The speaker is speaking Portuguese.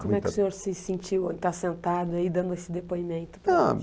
Como é que o senhor se sentiu, está sentado aí, dando esse depoimento para a gente? Ah...